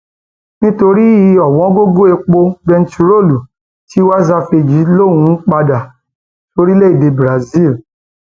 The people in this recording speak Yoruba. nítorí ọwọngọgọ epo bẹntiróòlù um tiwa savage lòún ń padà um sóríléèdè brazil